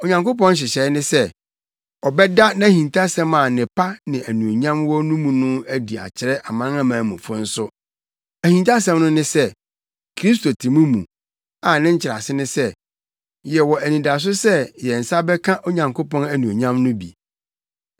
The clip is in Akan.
Onyankopɔn nhyehyɛe ne sɛ, ɔbɛda nʼahintasɛm a nnepa ne anuonyam wɔ mu no adi akyerɛ Amanamanmufo nso. Ahintasɛm no ne sɛ: Kristo te mo mu, a ne nkyerɛase ne sɛ, yɛwɔ anidaso sɛ yɛn nsa bɛka Onyankopɔn anuonyam no bi.